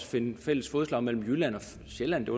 finde fælles fodslag mellem jylland og sjælland det